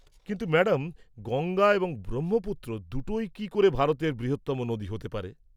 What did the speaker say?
কিন্তু ম্যাডাম, গঙ্গা এবং ব্রহ্মপুত্র দুটোই কি করে ভারতের বৃহত্তম নদী হতে পারে?